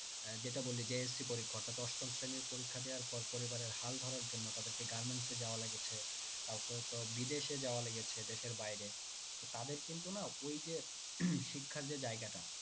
আহ যেটা বললি JSC পরীক্ষা অর্থাৎ অষ্টম শ্রেণীর পরীক্ষা দেওয়ার পর পরিবারের হাল ধরার জন্য তাদের কে garments এ যাওয়া লেগেছে কাউকে হয়তো বিদেশে যাওয়া লেগেছে দেশের বাইরে তো তাদের কিন্তু না ওই যে শিক্ষার যে জায়গাটা